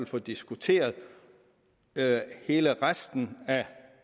få diskuteret hele resten af